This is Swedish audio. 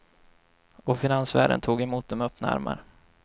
Och finansvärlden tog emot dem med öppna armar.